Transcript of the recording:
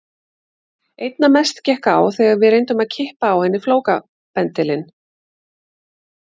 Einna mest gekk á þegar við reyndum að klippa á henni flókabendilinn.